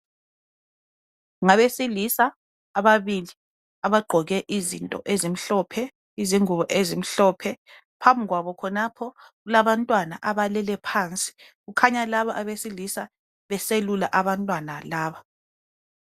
Ngabesilisa ababili abagqoke izinto ezimhlophe izingubo ezimhlophe phambi kwabo khonapho kulabantwana abalele phansi kukhanya laba abesilisa beselula abantwana laba